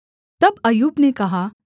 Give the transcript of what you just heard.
तब अय्यूब ने कहा